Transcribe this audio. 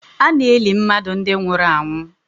Ana eli mmadụ ndi nwụrụ anwụ